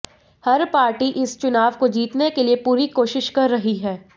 हर party इस चुनाव को जीतने के लिए पुरी कोशिश कर रही है